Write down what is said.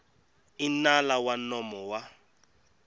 i nala wa nomo wa